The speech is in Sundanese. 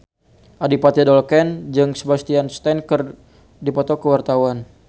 Adipati Dolken jeung Sebastian Stan keur dipoto ku wartawan